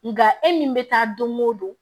Nga e min bɛ taa don o don